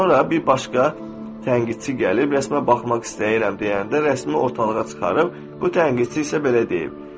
Sonra bir başqa tənqidçi gəlib rəsmə baxmaq istəyirəm deyəndə rəsmi ortalığa çıxarıb bu tənqidçi isə belə deyib: